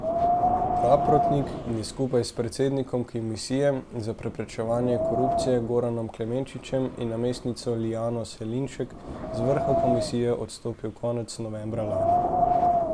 Praprotnik je skupaj s predsednikom Komisije za preprečevanje korupcije Goranom Klemenčičem in namestnico Liljano Selinšek z vrha komisije odstopil konec novembra lani.